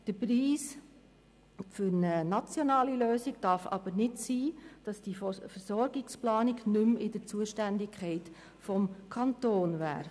Der Preis für eine nationale Lösung darf aber nicht sein, dass die Versorgungsplanung nicht mehr in der Zuständigkeit des Kantons liegt.